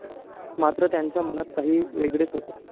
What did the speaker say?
मात्र, त्यांच्या मनात काही वेगळेच होते.